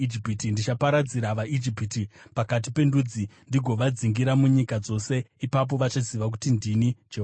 Ndichaparadzira vaIjipiti pakati pendudzi ndigovadzingira munyika dzose. Ipapo vachaziva kuti ndini Jehovha.”